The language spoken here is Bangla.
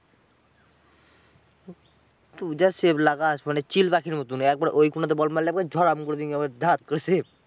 তুই যা save লাগাস মানে চিল পাখির মতোন। একবার ওই কোনাতে বল মারলে ধড়াম করে তুই একেবারে ধরাপ করে save.